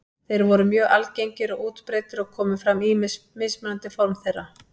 Þeir voru mjög algengir og útbreiddir og komu fram ýmis mismunandi form þeirra.